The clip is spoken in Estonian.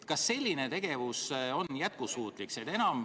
Kas selline tegevus on jätkusuutlik?